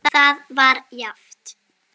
Það var jafnt.